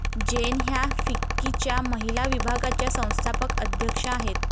जैन ह्या फिक्कीच्या महिला विभागाच्या संस्थापक अध्यक्षा आहेत.